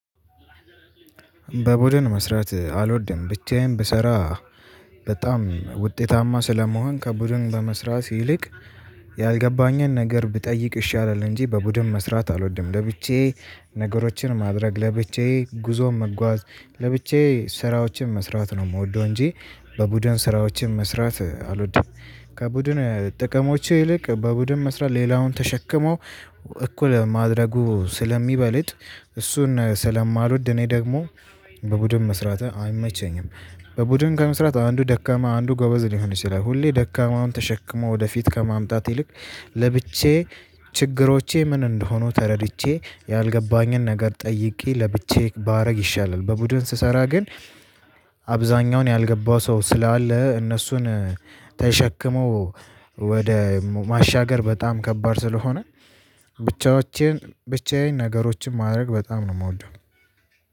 በቡድን መስራት አልወድም። ብቻዬን ብሰራ በጣም ውጤታማ ስለምሆን ከቡድን በመስራት ይልቅ ያልገባኝን ነገር ብጠይቅ ይሻላል እንጂ በቡድን መስራት አልወድም። ለብቻዬ ነገሮችን ማድረግ፤ ለብቻዬ ጉዞን መጓዝ፤ ለብቻዬ ስራዎችን መስራት ነው የምወደው እንጂ በቡድን ስራዎችን መስራት አልወድም። ከቡድን ጥቅሞች ይልቅ በቡድን መስራት ሌላውን ተሸክመው እኩል ማድረጉ ስለሚበልጥ እሱን ስለማልወድ እኔ ደግሞ በቡድን መስራት አይመቸኝም። በቡድን ከመስራት አንዱ ደካማ አንዱ ጎበዝ ሊሆን ይችላል ሁሌ ደካማውን ተሸክሞ ወደፊት ከማምጣት ይልቅ ለብቻዬ ችግሮቼ ምን እንደሆኑ ተረድቼ ያልገባኝን ነገር ጠይቄ ለብቻዬ ባደርግ ይሻላል በቡድን ስሰራ ግን አብዛኛውን ያልገባው ሰው ስላለ እነሱን ተሸክመው ወደ ማሻገር በጣም ከባድ ስለሆነ ብቻዎቼን ብቻዬን ነገሮችን ማድረግ በጣም ነው የምወደው